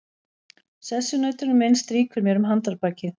Sessunautur minn strýkur mér um handarbakið.